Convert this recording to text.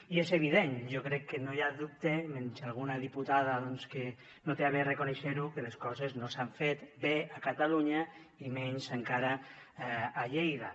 i és evident jo crec que no hi ha dubte menys alguna diputada que no es digna a reconèixer ho que les coses no s’han fet bé a catalunya i menys encara a lleida